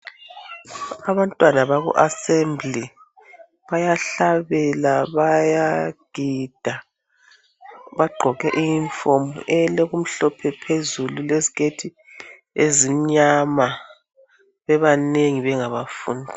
abantwana baku assembly bayahlabela bayagida bagqoke i uniform elokumhlophe phezulu leziketi ezimnyama bebanengi bengabafundi